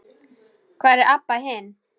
Hvar er Abba hin?